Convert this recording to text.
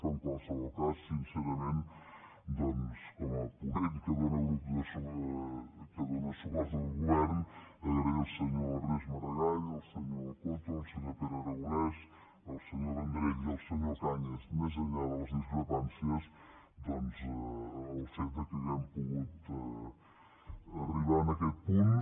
però en qualsevol cas sincerament doncs com a ponent que dóna suport al govern agrair al senyor ernest maragall al senyor coto al senyor pere aragonès al senyor vendrell i al senyor cañas més enllà de les discrepàncies doncs el fet que hàgim pogut arribar a aquest punt